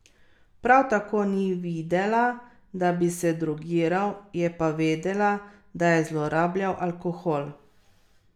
Prav tako ni videla, da bi se drogiral, je pa vedela, da je zlorabljal alkohol.